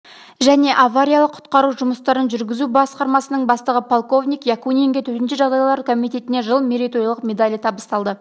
және авариялық-құтқару жұмыстарын жүргізу басқармасының бастығы полковник якунинге төтенше жағдайлар комитетіне жыл мерейтойлық медалі табысталды